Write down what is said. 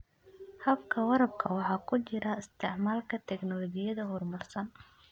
Habka waraabka waxaa ku jira isticmaalka tignoolajiyada horumarsan.